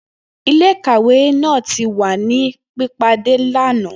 Ile-ikawe naa ti wa ni pipade lana.